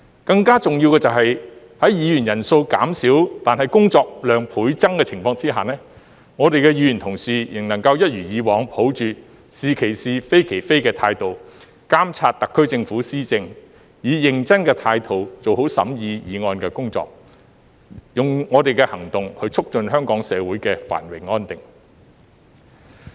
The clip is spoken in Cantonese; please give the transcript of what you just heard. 更重要的是，在議員人數減少但工作量倍增的情況下，議員仍能夠一如以往，抱着"是其是、非其非"的態度，監察特區政府施政，以認真的態度做好審議議案的工作，用我們的行動去促進香港社會的繁榮安定。